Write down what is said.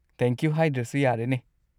Thank you ꯍꯥꯏꯗ꯭ꯔꯁꯨ ꯌꯥꯔꯦꯅꯦ꯫